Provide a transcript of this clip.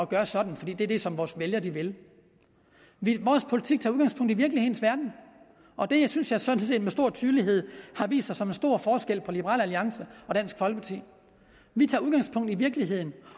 gøre sådan for det er det som vores vælgere vil vil vores politik tager udgangspunkt i virkelighedens verden og det synes jeg sådan set med stor tydelighed har vist sig som en stor forskel på liberal alliance og dansk folkeparti vi tager udgangspunkt i virkeligheden